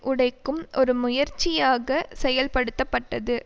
உடைக்கும் ஒரு முயற்சியாக செயல்படுத்தப்பட்டது